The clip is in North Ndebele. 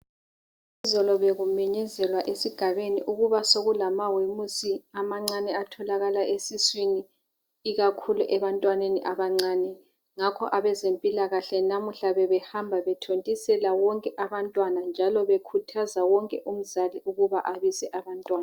Izolo bekumenyezelwa esigabeni ukuba soku lamawemusi amancane atholakala esiswini ikakhulu ebantwaneni abancane ngakho abezempilakahle namuhla bebehamba bethontisela bonke abantwana njalo bekhuthaza wonke umzali ukuba babise abantwana.